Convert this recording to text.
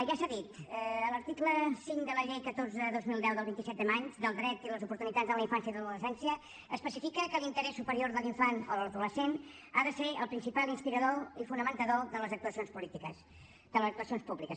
ja s’ha dit l’article cinc de la llei catorze dos mil deu del vint set de maig del dret i les oportunitats en la infància i l’adolescència especifica que l’interès superior de l’infant o de l’adolescent ha de ser el principal inspirador i fonamentador de les actuacions públiques